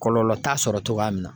Kɔlɔlɔ t'a sɔrɔ togoya min na